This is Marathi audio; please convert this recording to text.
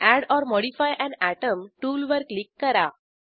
add or modify an atom टूलवर क्लिक करा